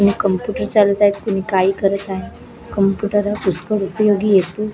कुणी कम्प्युटर चालवत आहे कुणी काही करत आहे कम्प्युटर हा पुष्कळ उपयोगी येतो.